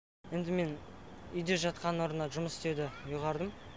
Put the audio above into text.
енді мен үйде жатқанның орнына жұмыс істеуді ұйғардым